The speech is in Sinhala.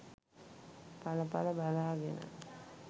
එල එල බලාගෙන